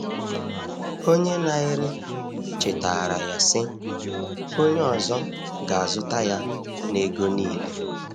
Onye na-ere chetaara ya, sị: “Onye ọzọ ga-azụta ya n’ego niile.”